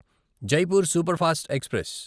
Jaipur superfast express